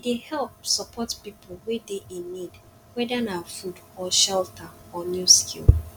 e dey help support pipo wey dey in need whether na food or shelter or new skill